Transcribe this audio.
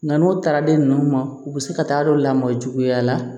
Nka n'o taara den ninnu ma u bɛ se ka taa don lamɔ juguya la